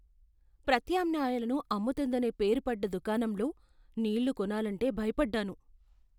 ప్రత్యామ్నాయాలను అమ్ముతుందనే పేరు పడ్డ దుకాణంలో నీళ్ళు కొనాలంటే భయపడ్డాను.